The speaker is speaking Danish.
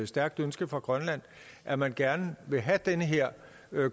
stærkt ønske fra grønland at man gerne vil have den her